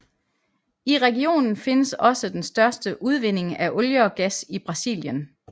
I regionen findes også den største udvinding af olie og gas i Brasilien